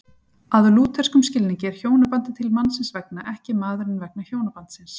Að lútherskum skilningi er hjónabandið til mannsins vegna, ekki maðurinn vegna hjónabandsins.